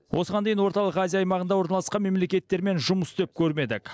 осыған дейін орталық азия аймағында орналасқан мемлекеттермен жұмыс істеп көрмедік